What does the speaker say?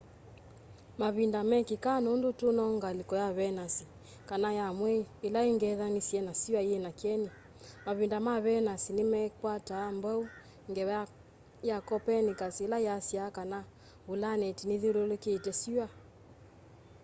mavinda mekîkaa nûndû tû no ngalîko ya venus kana ya mwei îla îng'ethanîsye na syûa yîna kyeni. mavinda ma venus nîmakwataa mbau ngewa ya copernicus îla yasyaa kana vulaneti nithyûlûlûkîte syûa